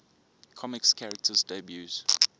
comics characters debuts